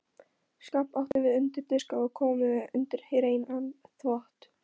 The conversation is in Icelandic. Skáp áttum við undir diska og kommóðu undir hreinan þvott.